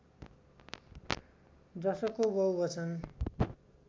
जसको बहुवचन